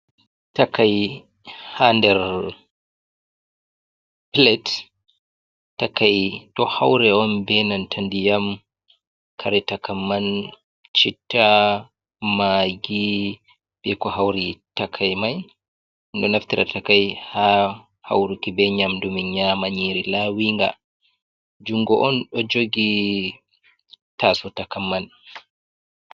Takai ha nder palate, takai ɗo haure on benanta ndiyam. Kare takamman cita, magi, ɓe ko haure takai mai, min ɗo naftira takai ha hauruki be nyamdu min yama nyiri lawinga, jungo on ɗo jogi taso takaiman.